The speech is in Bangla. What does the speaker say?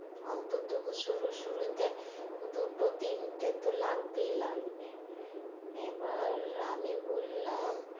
অন্তত শুরু শুরুতে দুটো তিনটে তো লাগবেই লাগবে এবার আমি বললাম,